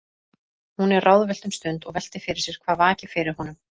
Hún er ráðvillt um stund og veltir fyrir sér hvað vaki fyrir honum.